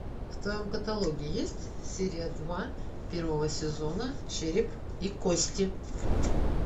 в твоем каталоге есть серия два первого сезона череп и кости